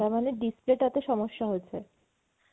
তার মানে display টা তে সমস্যা হয়েছে ।